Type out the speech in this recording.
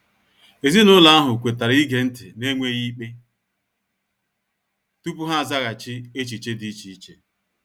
Ezinụlọ ahụ kwetara ige nti n'enweghi ikpe tupu ha azaghachi echiche di iche iche.